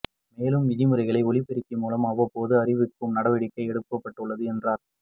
மேலும் விதிமுறைகளை ஒலிபெருக்கி மூலம் அவ்வப்போது அறிவிக்கவும் நடவடிக்கை எடுக்கப்பட்டுள்ளது என்றாா்